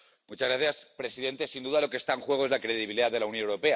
Señor presidente, sin duda, lo que está en juego es la credibilidad de la Unión Europea.